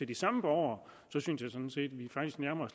de samme borgere så synes jeg sådan set